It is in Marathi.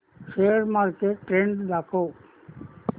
शेअर मार्केट ट्रेण्ड दाखव